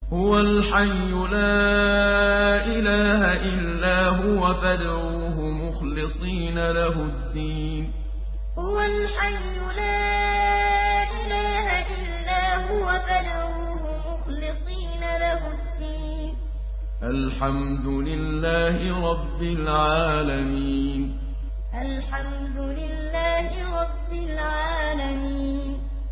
هُوَ الْحَيُّ لَا إِلَٰهَ إِلَّا هُوَ فَادْعُوهُ مُخْلِصِينَ لَهُ الدِّينَ ۗ الْحَمْدُ لِلَّهِ رَبِّ الْعَالَمِينَ هُوَ الْحَيُّ لَا إِلَٰهَ إِلَّا هُوَ فَادْعُوهُ مُخْلِصِينَ لَهُ الدِّينَ ۗ الْحَمْدُ لِلَّهِ رَبِّ الْعَالَمِينَ